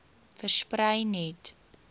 versprei net